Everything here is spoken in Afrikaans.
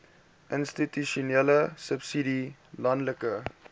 institusionele subsidie landelike